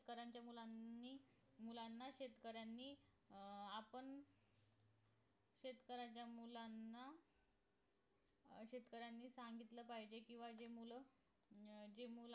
शेतकऱ्यांच्या मुलांनी मुलांना शेतकऱ्यांनी अं आपण शेतकऱ्याच्या मुलांना अं शेतकऱ्यांनी सांगितलं पाहिजे किंवा जे मूल अं जे